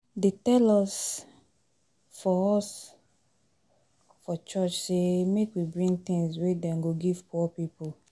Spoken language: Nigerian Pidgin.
Dey tell us for us for church sey make we bring tins wey dem go give poor people.